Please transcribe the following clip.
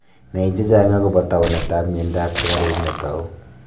nai chechag akopa taunet ap mianda ap sugaruk natau